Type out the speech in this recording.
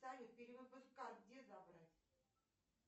салют перевыпуск карт где забрать